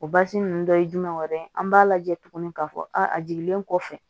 O basi ninnu dɔ ye jumɛn wɛrɛ ye an b'a lajɛ tuguni k'a fɔ a jiginlen kɔfɛ